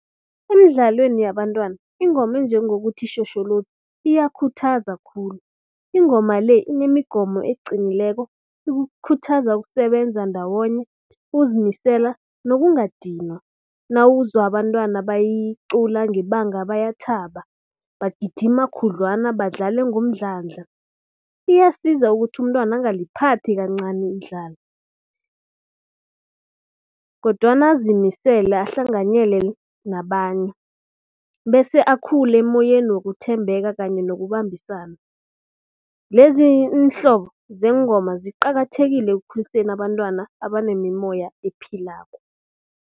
Emidlalweni yabantwana ingoma enjengokuthi, tjhotjholoza iyakhuthazwa khulu. Ingoma le inemigomo eqinileko, ikukhuthaza ukusebenza ndawonye, ukuzimisela nokungadinwa. Nawuzwa abantwana bayicula ngebanga bayathaba, bagijima khudlwana, badlale ngomdlandla. Iyasiza ukuthi umntwana angaliphathi kancani kodwana azimisele ahlanganyele nabanye bese akhule emoyeni wokuthembeka kanye nokubambisana. Lezi iinhlobo zeengomo ziqakathekile ekukhuliseni abantwana abanemimoya ephilako.